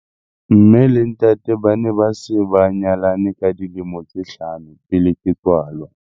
Mme le ntate ba ne ba se ba nyalane ka dilemo tse hlano pele ke tswalwa.